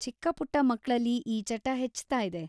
ಚಿಕ್ಕ-ಪುಟ್ಟ ಮಕ್ಳಲ್ಲಿ ಈ ಚಟ ಹೆಚ್ತಾಯಿದೆ.